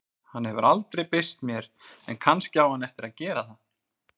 Hann hefur aldrei birst mér en kannski á hann eftir að gera það.